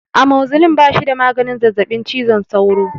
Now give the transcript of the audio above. Amoxicillin ba shi da maganin zazzabin cizon sauro.